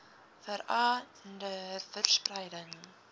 vera nder verspreiding